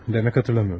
Hı, demək xatırlamırsan.